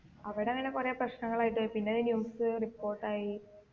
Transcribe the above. അവിടെ അങ്ങന കൊറേ പ്രശ്നങ്ങളായിട്ട് പിന്നെത് news report ആയി